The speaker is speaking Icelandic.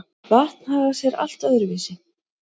Vatn hagar sé allt öðru vísi.